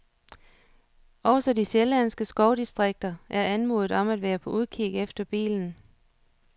Også de sjællandske skovdistrikter er anmodet om at være på udkig efter bilen.